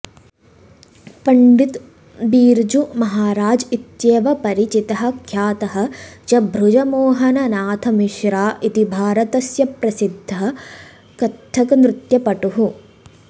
पण्डित् बिर्जू महाराज् इत्येव परिचितः ख्यातः च बृजमोहन नाथ मिश्रा इति भारतस्य प्रसिद्धः कथक्नृत्यपटुः